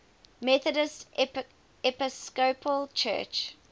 methodist episcopal church